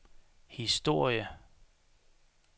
historie